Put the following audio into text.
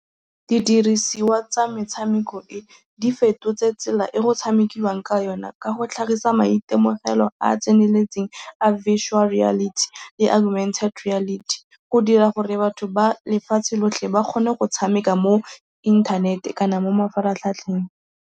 Didirisiwa tsa metshameko e di fetotse tsela e go tshamekiwang ka yone ka go tlhagisa maitemogelo a a tseneletseng a visual reality le argumented reality go dira gore batho ba lefatshe lotlhe ba kgone go tshameka mo inthanete kana mo mafaratlhatlheng.